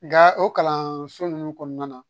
Nka o kalanso ninnu kɔnɔna na